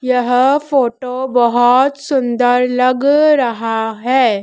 यह फोटो बहोत सुंदर लग रहा है।